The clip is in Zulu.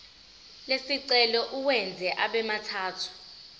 lesicelo uwenze abemathathu